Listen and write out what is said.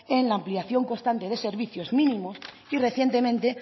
en la ampliación constante de servicios mínimos y recientemente